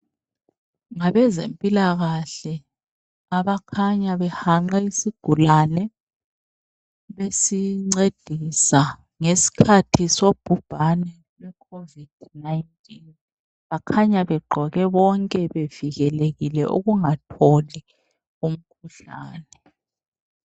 Ngabezempilakahle abakhanya behanqe isigulane besincedisa ngesikhathi sobhubhane lweCovid 19 bakhanya begqoke bonke bevikelekile ukungatholi umkhuhlane.